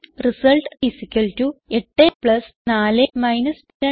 int result 84 2